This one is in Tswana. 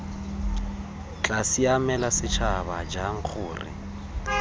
tla siamela setšhaba jang gore